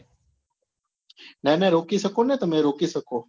ના ના રોકી શકો ને તમે રોકી શકો